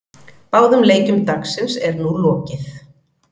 Báðum leikjum dagsins er nú lokið.